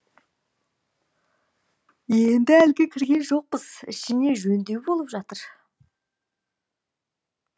енді әлі кірген жоқпыз ішіне жөндеу болып жатыр